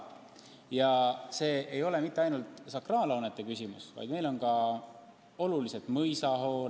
Ja küsimus ei ole ainult sakraalhoonetes, meie jaoks on olulised ka mõisahooned.